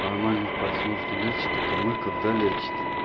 нормальных пацанов не лечат только мы когда лечит